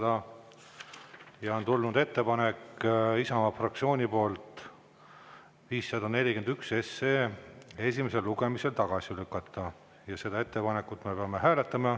Isamaa fraktsiooni poolt on tulnud ettepanek eelnõu 541 esimesel lugemisel tagasi lükata ja seda ettepanekut me peame hääletama.